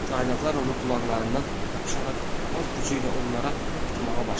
Caynaqlar onun qulaqlarından yapışaraq var gücü ilə onlara batmağa başladı.